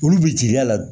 Olu bɛ jigi a la